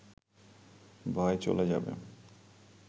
ভয় চলে যাবে